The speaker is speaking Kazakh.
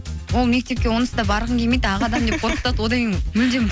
ол мектепке онсыз да барғың келмейді ақ адам деп қорқытатын одан кейін мүлдем